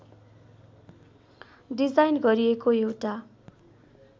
design गरिएको एउटा